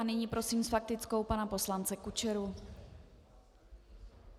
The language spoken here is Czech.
A nyní prosím s faktickou pana poslance Kučeru.